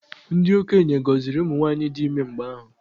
Ndị okenye gọziri ụmụ nwaanyị dị ime mgbe ahụ.